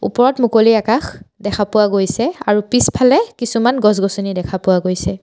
ওপৰত মুকলি আকাশ দেখা পোৱা গৈছে আৰু পিছফালে কিছুমান গছ-গছনি দেখা পোৱা গৈছে।